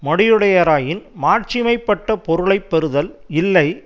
மடியுடையாராயின் மாட்சிமை பட்ட பொருளை பெறுதல் இல்லை